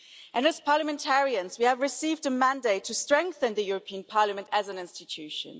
And as parliamentarians we have received a mandate to strengthen the European Parliament as an institution.